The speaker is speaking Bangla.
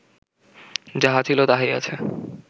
যাহা ছিল, তাহাই আছে